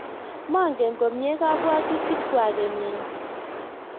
mangen komye kabwotutikwak kenyini